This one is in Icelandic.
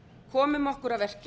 komum okkur að verki